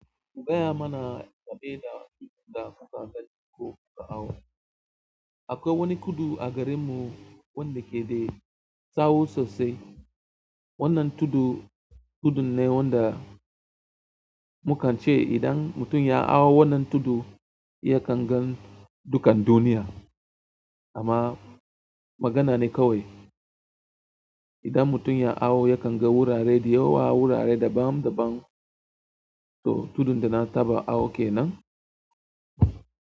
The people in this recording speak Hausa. Gaya mana game da abin da kuka gani ko kuka hau. Akwai wani tudu a garinmu wanda ke da tsawo sosai. Wannan tudu tudunn e wanda mukan ce idan mutum ya ha wannan tudu, yakan gan dukan duniya. Amma magana ne kawai. Idan mutum ya hau, yakan ga wurare da yawa, wurare daban daban. To tudun da na taba hau kenan.